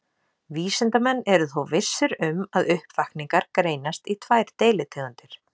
Vísindamenn eru þó vissir um að uppvakningar greinast í tvær deilitegundir.